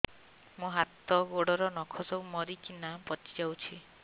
ମୋ ହାତ ଗୋଡର ନଖ ସବୁ ମରିକିନା ପଚି ଯାଉଛି